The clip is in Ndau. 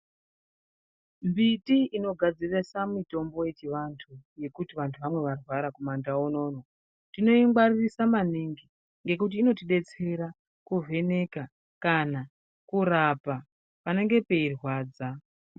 Mbiti inogadzirisa mitombo yechivantu yekuti vantu vamwe varwara kumandau unono, tinoingwaririsa maningi. Ngekuti inotibetsera kuvheneka kana kurapa panenge peirwadza.